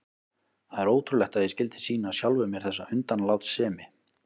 Það er ótrúlegt að ég skyldi sýna sjálfum mér þessa undanlátssemi.